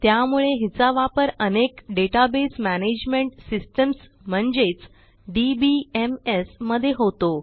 त्यामुळे हिचा वापर अनेक डेटाबेस मॅनेजमेंट सिस्टम्स म्हणजेच DBMSमध्ये होतो